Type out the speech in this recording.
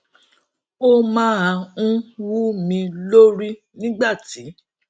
ó máa ń wú mi lórí nígbà tí